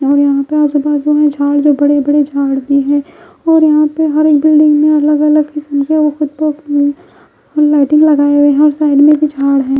और यहाँ पे आजू-बाजू में झाड़ जो बड़े-बड़े झाड़ भी हैं और यहाँ पे हर एक बिल्डिंग में अलग-अलग किस्म के वो कुछ पर्पल में लाइटिंग लगाए हुएं हैं और साइड में भी झाड़ हैं।